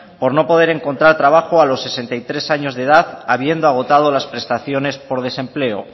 por no poder encontrar trabajo a los sesenta y tres años de edad habiendo agotado las prestaciones por desempleo